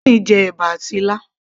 Tony jẹ ẹ̀bà àti ilá